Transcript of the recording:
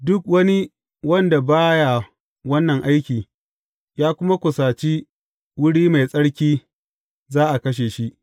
Duk wani wanda ba ya wannan aiki, ya kuma kusaci wuri mai tsarki, za a kashe shi.